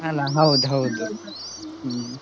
ಅಲ್ಲ ಹೌದು ಹೌದು, ಹ್ಮ್.